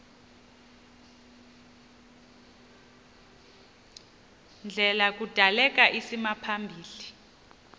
ndlela kudaleka isimaphambili